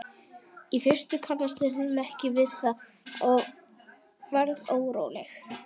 Í fyrstu kannaðist hún ekki við það og varð óróleg.